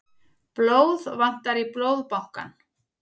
Blóð vantar í Blóðbankann